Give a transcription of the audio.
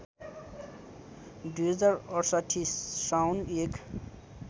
२०६८ साउन १